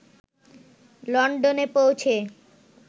লন্ডনে পৌঁছে